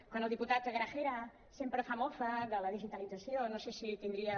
quan el diputat gragera sempre fa mofa de la digitalització no sé si tindria